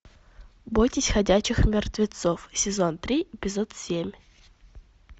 бойтесь ходячих мертвецов сезон три эпизод семь